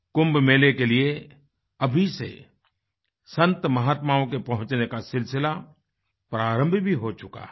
कुंभ मेले के लिए अभी से संतमहात्माओं के पहुँचने का सिलसिला प्रारंभ भी हो चुका है